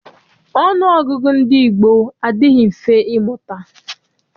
Ọnụọgụgụ ndị gboo adịghị mfe ịmụta.